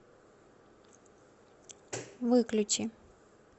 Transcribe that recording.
выключи